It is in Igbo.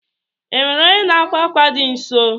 Enwere onye n'akwa akwa dị nso?